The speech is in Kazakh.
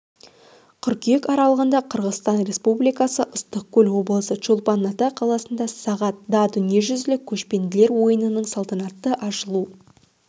қыркүйек аралығында қырғызстан республикасы ыстықкөл облысы чолпан ата қаласында сағат да дүниежүзілік көшпенділер ойынының салтанатты ашылу